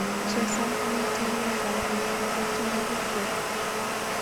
Chesan kongete laindap yuu nebo tyenwogikchuk